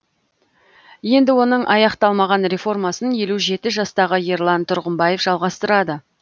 енді оның аяқталмаған реформасын елу жеті жастағы ерлан тұрғымбаев жалғастырады